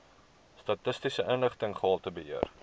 statistiese inligting gehaltebeheer